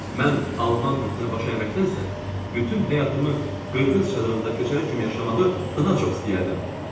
Mən alman bütünə baş əyməkdənsə, bütün həyatımı Qırğız çadırında köçəri kimi yaşamağı daha çox istəyərdim,